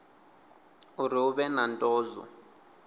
uri hu vhe na ndozwo